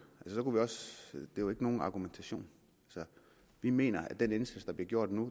er jo ikke nogen argumentation vi mener at den indsats der bliver gjort nu